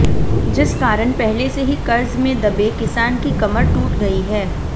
जिस कारण पहले से ही कर्ज में दबे किसान की कमर टूट गई है